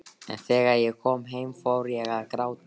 En þegar ég kom heim fór ég að gráta.